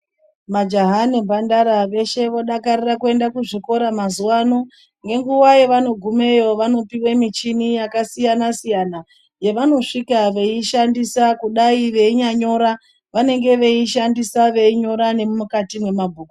Majaha nemhandara veshe vodakarira kuenda kuzvikora mazuvano ngenguva yevanogumeyo vanopiwe michini yakasiyana siyana yevanosvika veishandisa kudai veinyanyora vanenge veishandisa veinyora nemukati memabhuku .